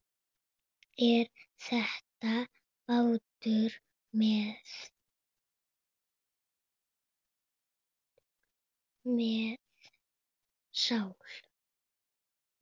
Er þetta bátur með sál?